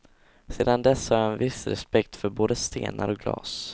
Sedan dess har jag en viss respekt för både stenar och glas.